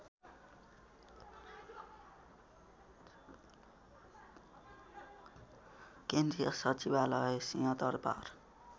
केन्द्रीय सचिवालय सिहंदरबार